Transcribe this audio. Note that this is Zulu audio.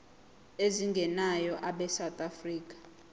ezingenayo abesouth african